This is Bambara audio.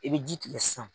I bɛ ji tigɛ sisan